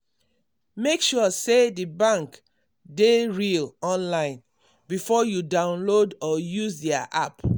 make sure say the bank dey real online before you download or use their app.